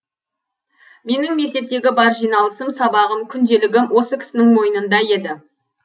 менің мектептегі бар жиналысым сабағым күнделігім осы кісінің мойнында еді